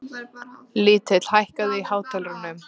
Lill, hækkaðu í hátalaranum.